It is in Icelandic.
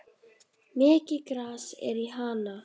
Mikið gras er í Hana.